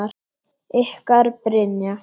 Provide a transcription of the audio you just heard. Ykkar Brynja.